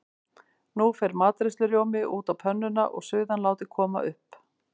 Nú fer matreiðslurjómi út á pönnuna og suðan látin koma upp.